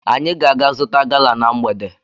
Anyị ga-aga zụta gala na mgbede.